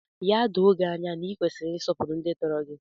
Ya doo gị anya na ị kwesịrị ịsọpụrụ ndị tọrọ gị!